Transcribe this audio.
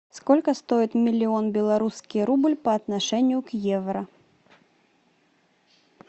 сколько стоит миллион белорусский рубль по отношению к евро